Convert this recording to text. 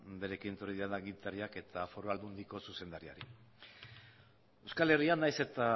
berarekin etorri diren agintariak eta foru aldundiko zuzendariari euskal herria nahiz eta